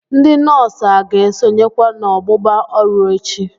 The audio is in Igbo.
Ndị nọọsụ a ga-esonyekwa n'ọgbụgba ọrụ echi?